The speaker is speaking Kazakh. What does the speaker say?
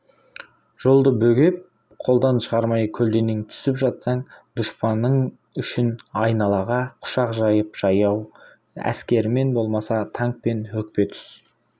жолды бөгеп қолдан шығармай көлденең түсіп жатсаң дұшпан үшін айналаға құшақ жайып жаяу әскерімен болмаса танкпен өкпе түс